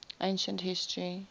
ancient history